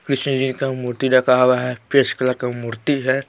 कृष्ण जी का मूर्ति रखा हुआ है कलर का मूर्ति है।